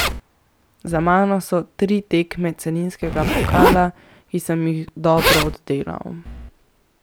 Za mano so tri tekme celinskega pokala, ki sem jih dobro oddelal.